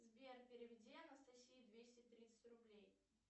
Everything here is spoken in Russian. сбер переведи анастасии двести тридцать рублей